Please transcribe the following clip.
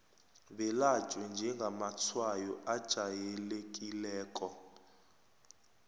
belatjhwe njengamatshwayo ajayelekileko